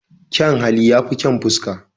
Kyan hali ya fi kyan fuska